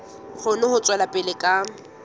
kgone ho tswela pele ka